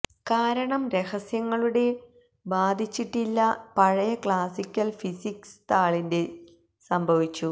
കാരണം രഹസ്യങ്ങളുടെ ബാധിച്ചിട്ടില്ല പഴയ ക്ലാസിക്കൽ ഫിസിക്സ് താളിന്റെ സംഭവിച്ചു